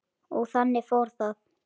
Og þannig fór það.